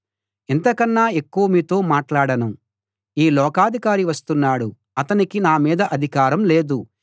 ఇంతకన్నా ఎక్కువ మీతో మాట్లాడను ఈ లోకాధికారి వస్తున్నాడు అతనికి నా మీద అధికారం లేదు